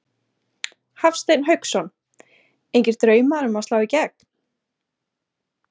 Hafsteinn Hauksson: Engir draumar um að slá í gegn?